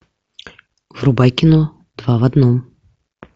врубай кино два в одном